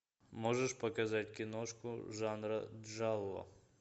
можешь показать киношку жанра чжао